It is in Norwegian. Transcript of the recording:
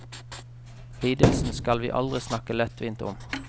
Lidelsen skal vi aldri snakke lettvint om.